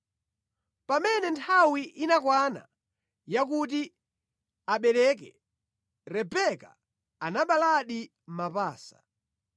Pamene nthawi inakwana yakuti abeleke, Rebeka anaberekadi mapasa.